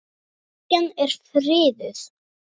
Kirkjan er friðuð.